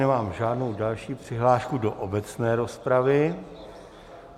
Nemám žádnou další přihlášku do obecné rozpravy.